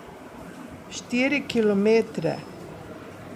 Štiri kilometre.